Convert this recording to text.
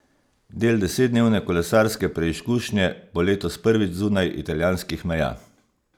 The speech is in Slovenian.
Del desetdnevne kolesarske preizkušnje bo letos prvič zunaj italijanskih meja.